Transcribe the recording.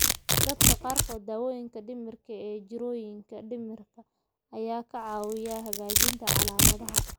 Dadka qaarkood, daawooyinka dhimirka ee jirrooyinka dhimirka ayaa ka caawiyay hagaajinta calaamadaha.